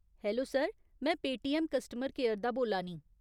Hello sir, में Paytm customer care दा बोल्ला नीं।